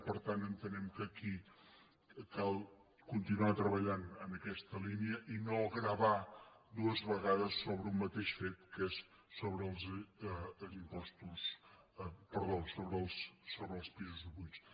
i per tant entenem que aquí cal continuar treballant en aquesta línia i no gravar dues vegades sobre un ma·teix fet que és sobre els pisos buits